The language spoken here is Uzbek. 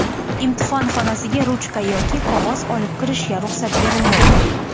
Imtihon xonasiga ruchka yoki qog‘oz olib kirishga ruxsat berilmaydi.